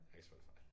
Har ikke Spotify